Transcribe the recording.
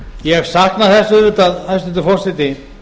ég sakna þess auðvitað hæstvirtur forseti